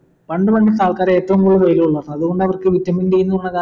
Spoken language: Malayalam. പണ്ട് പണ്ടത്തെ ആൾക്കാർ ഏറ്റവും കൂടുതൽ വെയിൽ കൊള്ളുക അതുകൊണ്ട് അവർക്കു vitamin d എന്നുള്ള കാ